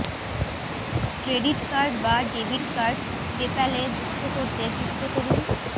credit card বা debit card পেপ্যালে যুক্ত করতে যুক্ত করুন